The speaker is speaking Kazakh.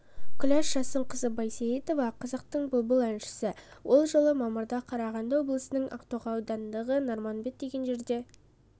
күләш жасынқызы байсейітова қазақтың бұлбұл әншісі ол жылы мамырда қарағанды облысының ақтоғай ауданындағы нарманбет деген жерде